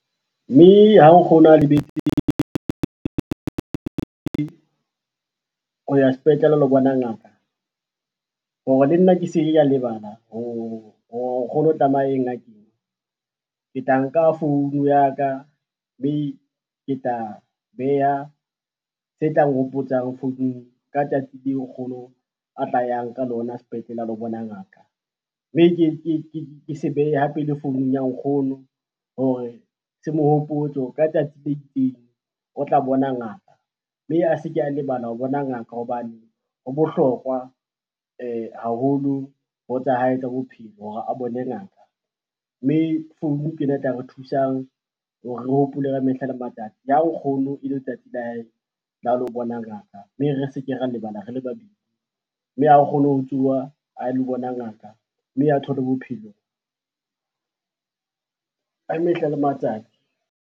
Mme ha o ho ya sepetlele a lo bona ngaka, hore le nna ke se ke ka lebala hore nkgono tlameya a ye ngakeng, ke tla nka phone ya ka, mme ke tla beha tse tlang hopotsang founung ka tsatsi leo nkgono a tla yang ka lona sepetlele a lo bona ngaka. Mme ke se behe hape le founung ya nkgono hore se mo hopotse ka tsatsi le itseng o tla bona ngaka, mme a se ke a lebala ho bona ngaka hobane ho bohlokwa haholo ho tsa hae tsa bophelo hore a bone ngaka. Mme founu ke e tla re thusang hore re hopole ka mehla le matsatsi le ha nkgono e le letsatsi la hae la ho lo bona ngaka, mme re se ke ra lebala rele babedi, mme a kgone ho tsoha a lo bona ngaka mme a thole bophelo, ka mehla le matsatsi.